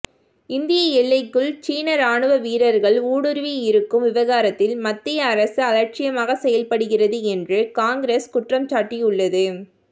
இந்திய எல்லைக்குள் சீன ராணுவ வீரர்கள் ஊடுருவியிருக்கும் விவகாரத்தில் மத்திய அரசு அலட்சியமாக செயல்படுகிறது என்று காங்கிரஸ் குற்றம்சாட்டியுள்ளது